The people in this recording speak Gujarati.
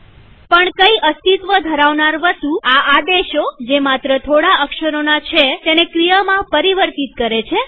પણ કઈ અસ્તિત્વ ધરાવનાર વસ્તુ આ આદેશોજે માત્ર થોડા અક્ષરોના છે તેને ક્રિયામાં પરિવર્તિત કરે છે